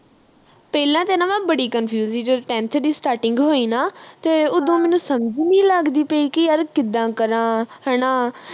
ਪਹਿਲਾਂਤੇ ਨਾ ਮੈਂ ਬੜੀ confuse ਹੀ ਜਦੋਂ tenth ਦੀ starting ਹੋਈ ਨਾ ਤੇ ਉਦੋਂ ਮੈਨੂੰ ਸਮਝ ਨੀ ਲੱਗਦੀ ਪਈ ਕਿ ਯਾਰ ਕਿੱਦਾਂ ਕਰਾ ਹਣਾ